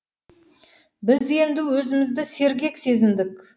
біз енді өзімізді сергек сезіндік